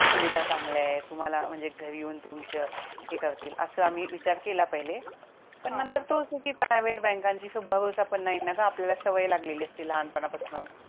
सुविधा चांगल्या आहे तुम्हाला म्हणजे घरी येऊन तुमचं हे करतील अस आम्ही विचार केला पहिले पण नंतर तेच आहे कि private बँका वरती भरोसा पण नाही ना ग आपल्याला सवय लागलेली असते लहान पणा पासन